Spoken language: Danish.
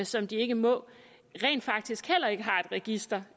som de ikke må rent faktisk heller ikke har et register